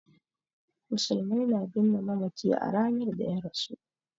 Musulmai na binne mamaci a ranar da ya rasu.